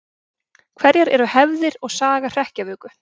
Hverjar eru hefðir og saga hrekkjavöku?